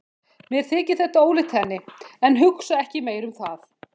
Mér þykir þetta ólíkt henni, en hugsa ekki meira um það.